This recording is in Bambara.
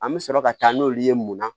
An bɛ sɔrɔ ka taa n'olu ye munna